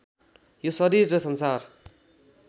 यो शरीर र संसार